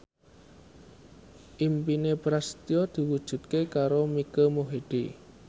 impine Prasetyo diwujudke karo Mike Mohede